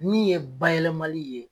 Min ye bayɛlɛlɛmali ye